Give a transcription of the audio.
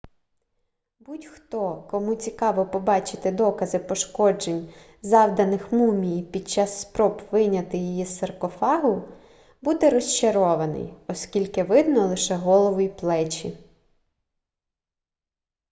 будь-хто кому цікаво побачити докази пошкоджень завданих мумії під час спроб вийняти її з саркофагу буде розчарований оскільки видно лише голову й плечі